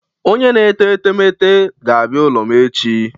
Onye na-ete etemeete ga-abịa n'ụlọ m echi.